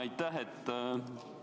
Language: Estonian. Aitäh!